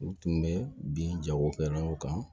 U tun bɛ bin jagokɛlaw kan